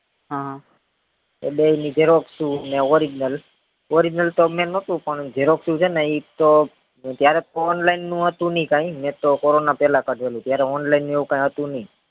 એ બઈ ની xerox ઉ અને original original મેં તો નોતું પણ xerox ઉ છે ને ઈ તો ત્યારેજ online નું હતું નય કાય મેતો corona પેલા કઢાવ્યું હતું ત્યારે online એવું કય હતું નય